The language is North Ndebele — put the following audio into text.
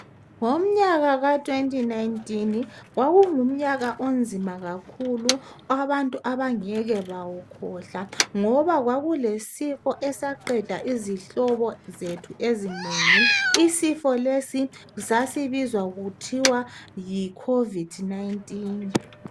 Ngomnyaka ka 2019 ,kwakungumnyaka onzima kakhulu .Abantu abangeke bawukhohlwa ,ngoba kwakulesifo esaqeda izihlobo zethu ezinengi .Isifo lesi sasibizwa kuthiwa Yi COVID 19.